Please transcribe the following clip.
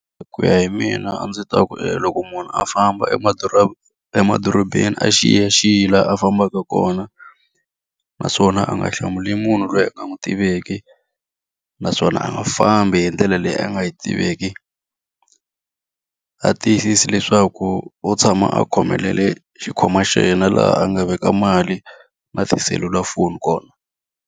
Hi ku ya hi mina a ndzi ta ku loko munhu a famba emadorobeni a xiyaxiye laha a fambaka kona, naswona a nga hlamuli munhu loyi a nga n'wi tiveki. Naswona a nga fambi hi ndlela leyi a nga yi tiveki. A tiyisise leswaku u tshama a khomelele xikhwama xa yena laha a nga veka mali, na tiselulafoni kona.